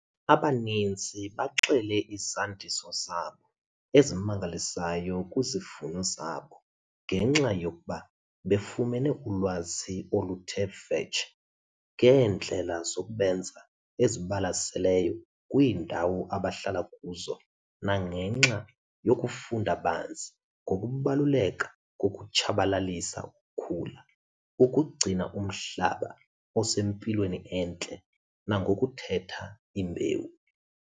Abaninzi baxele izandiso zabo ezimangalisayo kwizivuno zabo ngenxa yokuba befumene ulwazi oluthe vetshe ngeendlela zokubenza ezibalaseleyo kwiindawo abahlala kuzo nangenxa yokufunda banzi ngokubaluleka kokutshabalalisa ukhula, ukugcina umhlaba usempilweni entle nangokukhetha imbewu.